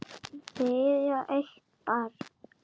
Þau eiga eitt barn.